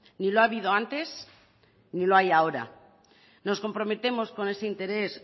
ni lo ha habido antes ni lo hay ahora nos comprometemos con ese interés